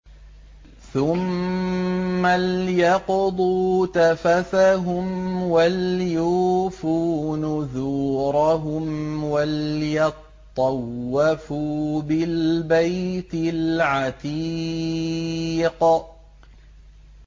ثُمَّ لْيَقْضُوا تَفَثَهُمْ وَلْيُوفُوا نُذُورَهُمْ وَلْيَطَّوَّفُوا بِالْبَيْتِ الْعَتِيقِ